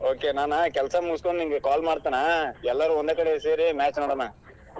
Okay ನಾನ್ ಕೆಲಸಾ ಮುಗಿಸ್ಕೊಂಡ್ ನಿಂಗೆ call ಮಾಡ್ತೇನಾ ಎಲ್ಲಾರು ಒಂದ್ ಕಡೆ ಸೇರಿ match ನೋಡೋಣಾ.